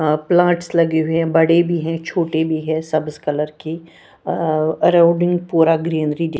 अं plants लगे हुए है बड़े भी है छोटे भी है सब इस कलर के और आउटडोर पूरा ग्रीनरी --